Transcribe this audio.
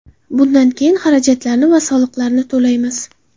Bundan keyin xarajatlarni va soliqlarni to‘laymiz.